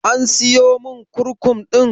An siyomin kurkum ɗin?